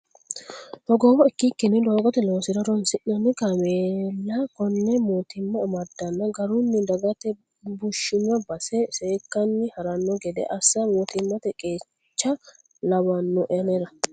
Hogowoho ikkikkinni doogote loosira horonsi'nanni kaameella kone mootimma amadanna garunni dagate bushino base. seekkanni harano gede assa mootimmate qeecha lawano anera.